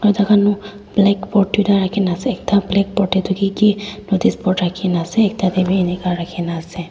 backboard tuita rakhina ase ekta blackboard tae toh kiki noticeboard rakhina ase ekta tae bi enika rakhinaase.